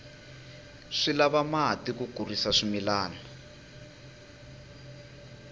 swi lava mati ku kurisa swimilana